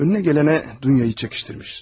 Önünə gələnə Dunyayı çəkişdirmiş.